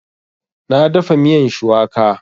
Na dafa miyan shuwaka